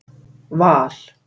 Val